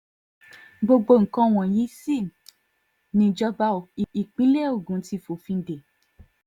gbogbo nǹkan wọ̀nyí sì nìjọba ìpínlẹ̀ ogun ti fòfin dé